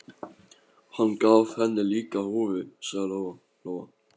Hann gaf henni líka húfu, sagði Lóa Lóa.